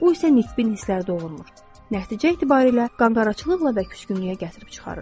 Bu isə nitbi hisslər doğurmur, nəticə etibarilə qanqaraçılıqla və küskünlüyə gətirib çıxarır.